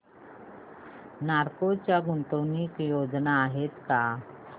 नालको च्या गुंतवणूक योजना आहेत का